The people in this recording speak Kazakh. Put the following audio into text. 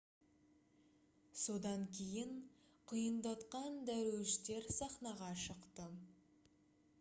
содан кейін құйындатқан дәруіштер сахнаға шықты